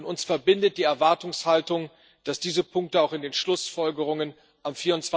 Uns verbindet die Erwartungshaltung, dass diese Punkte auch in den Schlussfolgerungen am